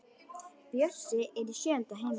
Bjössi er í sjöunda himni.